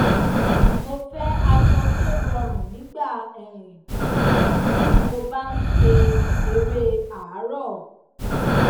mo fẹ aṣọ tó rọrùn nígbà um tí mo bá n ṣe eré àárọ